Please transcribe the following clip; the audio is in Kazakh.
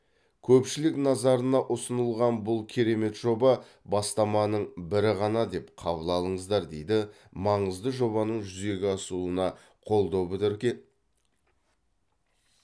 көпшілік назарына ұсынылған бұл керемет жоба бастаманың бірі ғана деп қабыл алыңыздар дейді маңызды жобаның жүзеге асуына қолдау білдірген